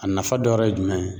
A nafa dɔ wɛrɛ ye jumɛn ye.